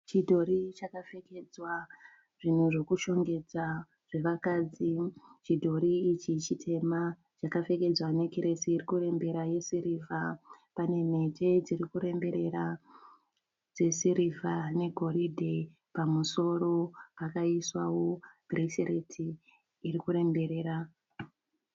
Chidhori chakapfekedzwa zvinhu zvekushongedza zvevakadzi. Chidhori ichi chitema chakapfekedzwa nekiresi iri kurembera yesirivha. Pane mhete dziri kuremberera dzesirivha negoridhe. Pamusoro pakaiswawo bhuresireti iri kuremberera.